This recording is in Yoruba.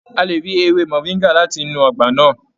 A lè rí ewé moringa láti inú ọgbà náà.